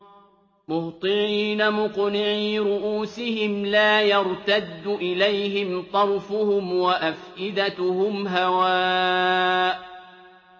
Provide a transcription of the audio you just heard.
مُهْطِعِينَ مُقْنِعِي رُءُوسِهِمْ لَا يَرْتَدُّ إِلَيْهِمْ طَرْفُهُمْ ۖ وَأَفْئِدَتُهُمْ هَوَاءٌ